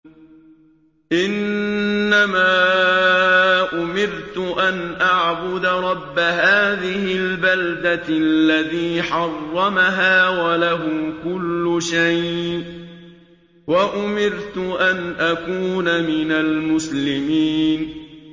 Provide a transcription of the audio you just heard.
إِنَّمَا أُمِرْتُ أَنْ أَعْبُدَ رَبَّ هَٰذِهِ الْبَلْدَةِ الَّذِي حَرَّمَهَا وَلَهُ كُلُّ شَيْءٍ ۖ وَأُمِرْتُ أَنْ أَكُونَ مِنَ الْمُسْلِمِينَ